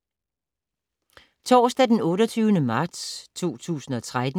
Torsdag d. 28. marts 2013